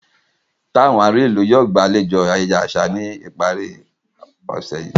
Tàwọn àárín ìlú yóò gbàlejò ayẹyẹ àṣà ní ìparí ọ̀sẹ̀ yí